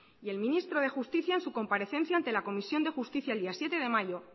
y el ministro de justicia en su comparecencia ante la comisión de justicia el día siete de mayo